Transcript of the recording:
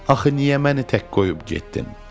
Axı niyə məni tək qoyub getdin?